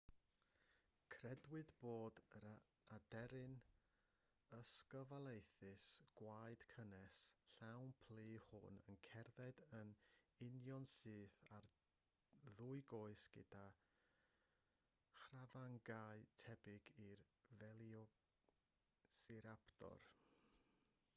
credwyd bod yr aderyn ysglyfaethus gwaed cynnes llawn plu hwn yn cerdded yn unionsyth ar ddwy goes gyda chrafangau tebyg i'r velociraptor